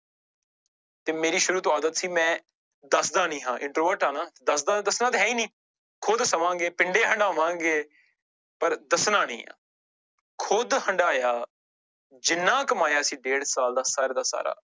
ਤੇ ਮੇਰੀ ਸ਼ੁਰੂ ਤੋਂ ਆਦਤ ਸੀ ਮੈਂ ਦੱਸਦਾ ਨੀ ਹਾਂ introvert ਆ ਨਾ ਦੱਸਦਾ ਦੱਸਣਾ ਤੇ ਹੈ ਹੀ ਨੀ, ਖੁਦ ਸਵਾਂਗੇ ਪਿੰਡੇ ਹਡਾਵਾਂਗੇ ਪਰ ਦੱਸਣਾ ਨੀ ਆਂ, ਖੁੱਦ ਹੰਡਾਇਆ ਜਿੰਨਾ ਕਮਾਇਆ ਸੀ ਡੇਢ ਸਾਲ ਦਾ ਸਾਰਾ ਦਾ ਸਾਰਾ